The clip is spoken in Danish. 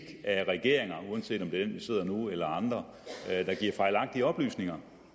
af regeringer uanset om det er den der sidder nu eller andre der giver fejlagtige oplysninger